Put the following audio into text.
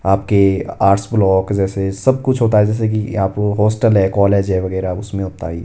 आपके arts block जैसे सब कुछ होता है जैसे कि आप हॉस्टल है कॉलेज है वगैरा उसमें होता है ये --